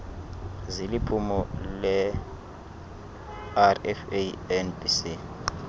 ziliphulo lerfa nbc